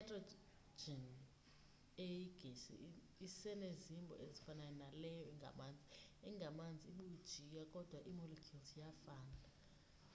i-nitrogen eyigesi isenezimbo ezifanayo naleyo ingamanzi engamanzi ibujiya kodwa ii-molecule zisafana